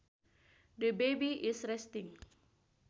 The baby is resting